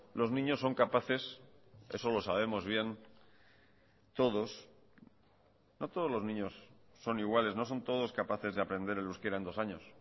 los niños son capaces eso lo sabemos bien todos no todos los niños son iguales no son todos capaces de aprender el euskera en dos años